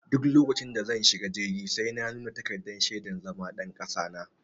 Duk lokacin da zan shiga jirgi sai na nuna takardar shaidar zama ɗan kasa na.